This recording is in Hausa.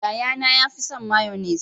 Yaya na ya fi son mayonnaise.